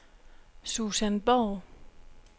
Susan Borg